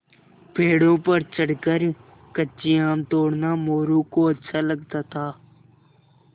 पेड़ों पर चढ़कर कच्चे आम तोड़ना मोरू को अच्छा लगता था